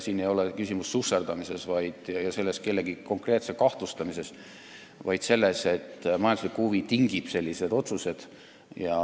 Siin ei ole küsimus susserdamises ega kellegi konkreetse kahtlustamises, vaid selles, et majanduslik huvi tingib sellised otsused.